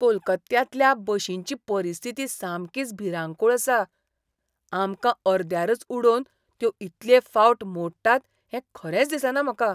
कोलकात्यांतल्या बशींची परिस्थिती सामकीच भिरांकूळ आसा! आमकां अर्द्यारच उडोवन त्यो इतले फावट मोडटात हें खरेंच दिसना म्हाका.